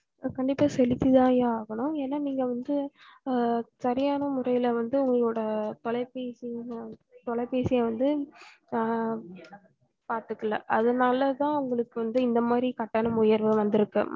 sir கண்டிப்பா செலுத்தித்தாயா ஆகணும் ஏன நீங்க வந்து அஹ் சரியான முறையில வந்து உங்களோட தொலைபேசி தொலைபேசிய வந்து அஹ் பாத்துக்கல அதுனாலதான் உங்களுக்கு வந்து இந்தமாரி கட்டணம் உயர்வு வந்திருக்கு